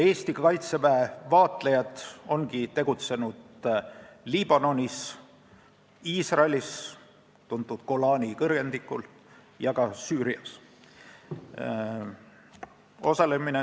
Eesti Kaitseväe vaatlejad ongi tegutsenud Liibanonis, tuntud Golani kõrgendikel Iisraelis ja ka Süürias.